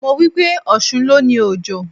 Mo wípé: Ọ̀ṣun ló ni Òjò.